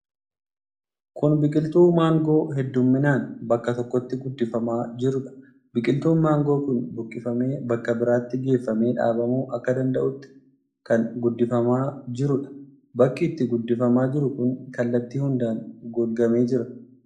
Kun biqiltuu mangoo heddumminaan bakka tokkotti guddifamaa jiruudha. Biqiltuun mangoo kun buqqifamee bakka biraatti geeffamee dhaabamuu akka danda'utti kan guddifamaa jiruudha. Bakki itti guddifamaa jiru kun kallattii hundaan golgamee jira.